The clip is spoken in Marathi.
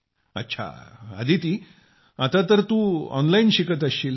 अच्छा अदिती आता तर तू ऑनलाईन शिकत असशील